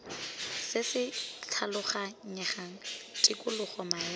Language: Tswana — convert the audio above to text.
se se tlhaloganyegang tikologo maemo